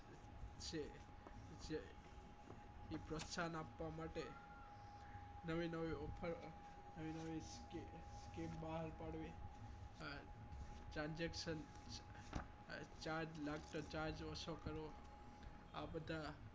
પ્રોત્સાહન આપવા માટે નવી નવી offer નવી નવી કે બહાર પાડવી માટે transaction charge લાગતા charge ઓછો કરવા આ બધા